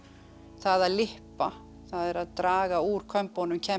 það að það er að draga úr kömbunum